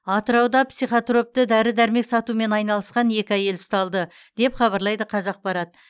атырауда психотропты дәрі дәрмек сатумен айналысқан екі әйел ұсталды деп хабарлайды қазақпарат